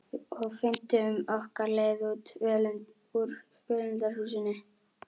Og fundum okkar leið út úr völundarhúsinu.